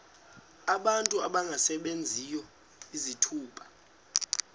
abantu abangasebenziyo izithuba